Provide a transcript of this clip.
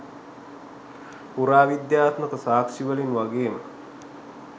පුරාවිද්‍යාත්මක සාක්ෂිවලින් වගේම